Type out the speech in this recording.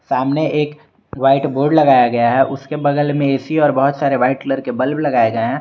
सामने एक white board लगाया गया है उसके बगल में ए_सी और बहोत सारे व्हाइट कलर के बल्ब लगाए गए हैं।